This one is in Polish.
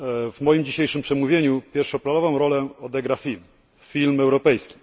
W moim dzisiejszym przemówieniu pierwszoplanową rolę odegra film, film europejski.